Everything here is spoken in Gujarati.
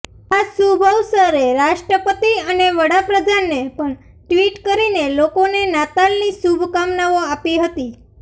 આ શુભ અવસરે રાષ્ટ્રપતિ અને વડાપ્રધાને પણ ટ્વીટ કરીને લોકોને નાતાલની શુભકામનાઓ આપી હતી